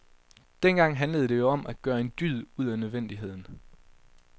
Dengang handlede det jo om at gøre en dyd ud af nødvendigheden.